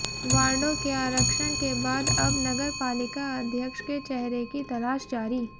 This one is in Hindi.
वार्डों के आरक्षण के बाद अब नगरपालिका अध्यक्ष के चेहरे की तलाश जारी